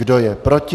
Kdo je proti?